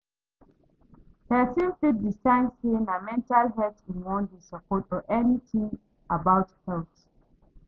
Persin fit decide say na mental health im won de support or anything about health